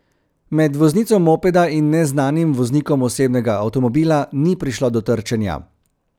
Med voznico mopeda in neznanim voznikom osebnega avtomobila ni prišlo do trčenja.